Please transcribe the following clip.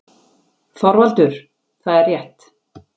ÞORVALDUR: Það er rétt!